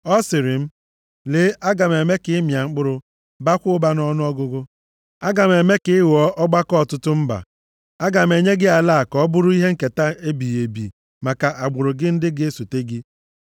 Ọ sịrị m, ‘Lee, aga m eme ka ị mịa mkpụrụ, baakwa ụba nʼọnụọgụgụ. Aga m eme ka ị ghọọ ọgbakọ ọtụtụ mba. Aga m enye gị ala a ka ọ bụrụ ihe nketa ebighị ebi maka agbụrụ gị ndị ga-esote gị.’